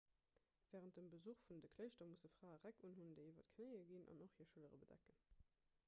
wärend dem besuch vun de kléischter musse frae räck unhunn déi iwwer d'knéie ginn an och hir schëllere bedecken